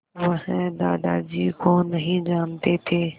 वह दादाजी को नहीं जानते थे